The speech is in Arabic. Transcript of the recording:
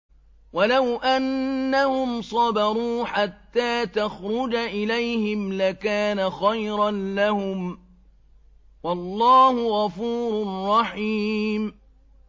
وَلَوْ أَنَّهُمْ صَبَرُوا حَتَّىٰ تَخْرُجَ إِلَيْهِمْ لَكَانَ خَيْرًا لَّهُمْ ۚ وَاللَّهُ غَفُورٌ رَّحِيمٌ